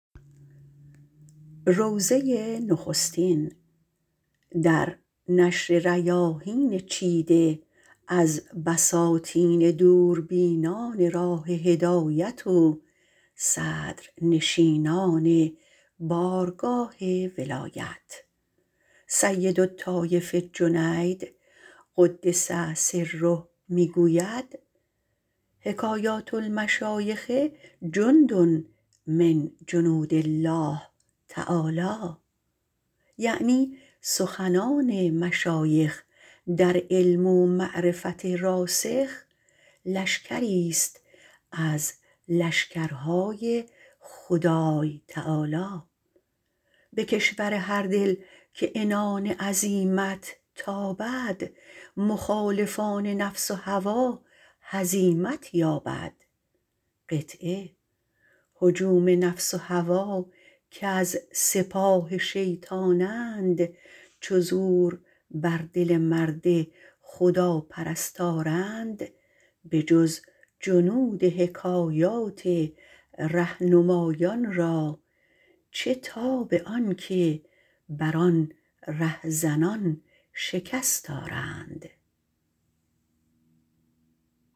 سیدالطایفه جنید - قدس سره - می گوید حکایات المشایخ جند من جنودالله یعنی سخنان مشایخ در علم و معرفت راسخ لشکریست از لشکرهای خدای تعالی به کشور هردل که عزیمت تابد مخالفان نفس و هوا را روی در هزیمت یابد هجوم نفس و هوا گر سپاه شیطانند چو زور بر دل مرد خداپرست آرند بجز جنود حکایات رهنمایان را چه تاب آنکه بر آن رهزنان شکست آرند